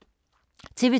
TV 2